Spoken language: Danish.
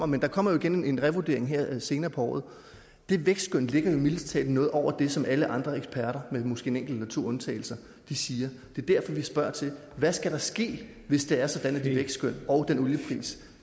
men der kommer jo igen en revurdering her senere på året det vækstskøn ligger jo mildest talt noget over det som alle andre eksperter med måske en enkelt eller to undtagelser siger det er derfor vi spørger til hvad skal der ske hvis det er sådan at det vækstskøn og den oliepris